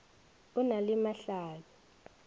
o na le mahla bi